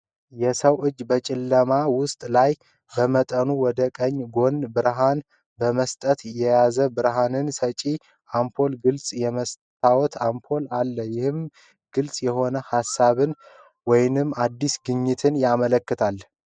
የሰው እጅ በጨለማ ውስጥ ላይ፣ በመጠኑ ወደ ቀኝ ጎን ብርሃን በመስጠት የያዘው ብርሃን ሰጪ አምፖል ግልጽ የመስታወት አምፖል አለ፣ ይህም ግልጽ የሆነ ሃሳብን ወይም አዲስ ግኝትን ያመለክታል።